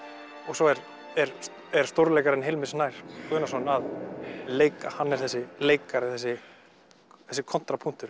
svo er er er stórleikarinn Hilmir Snær Guðnason að leika hann er þessi leikari þessi þessi